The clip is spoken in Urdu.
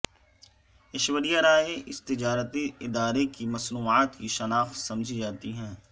ایشوریہ رائے اس تجارتی ادارے کی مصنوعات کی شناخت سمجھی جاتی ہیں